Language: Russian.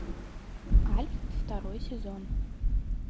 альф второй сезон